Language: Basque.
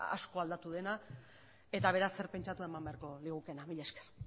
asko aldatu dena eta beraz zer pentsatu eman beharko ligukeena mila esker